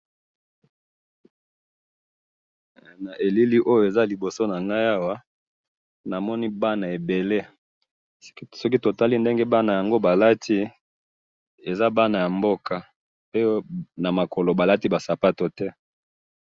na eleli awa eza liboso ya ngayi awa namoni bana ebele soki totali ndenge bana yango balati eza bana ya mboka pe oyo na makolo balati sapatu te.